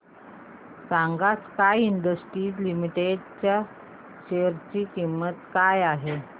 सांगा sky industries limited च्या share ची किंमत काय आहे